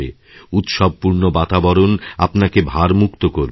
উৎসবপূর্ণ বাতাবরণ আপনাকেভারমুক্ত করবে